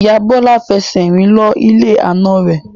Ìyá Bọlá fẹsẹ̀ rìn lọ ilé àna rẹ̀